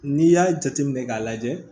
N'i y'a jate minɛ k'a lajɛ